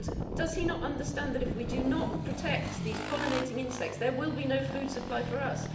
Does he not understand that if we do not protect these pollinating insects, there will be no food supply for us?